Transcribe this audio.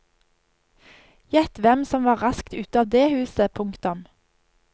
Gjett hvem som var rask ut av det huset. punktum